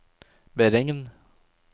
beregn